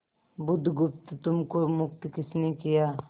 बुधगुप्त तुमको मुक्त किसने किया